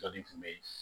tun bɛ yen